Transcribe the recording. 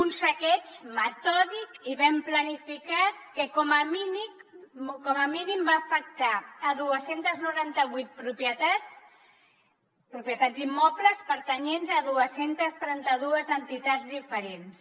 un saqueig metòdic i ben planificat que com a mínim va afectar dos cents i noranta vuit propietats propietats immobles pertanyents a dos cents i trenta dos entitats diferents